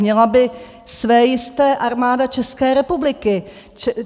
Měla by své jisté Armáda České republiky.